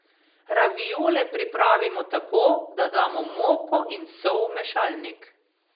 Raviole pripravimo tako, da damo moko in sol v mešalnik.